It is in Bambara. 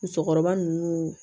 Musokɔrɔba ninnu